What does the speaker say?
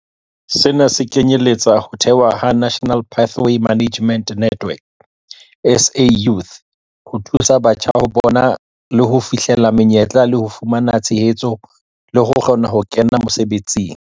Sena se kenyeletsa ho thehwa ha National Pathway Management Network, SA Youth, ho thusa batjha ho bona le ho fihlella menyetla le ho fumana tshehetso le ho kgona ho kena mosebetsing.